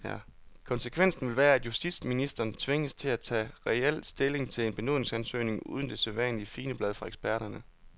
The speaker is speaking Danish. Konsekvensen vil være, at justitsministeren tvinges til at tage reel stilling til en benådningsansøgning uden det sædvanlige figenblad fra eksperterne.